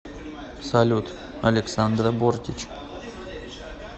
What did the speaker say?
салют александра бортич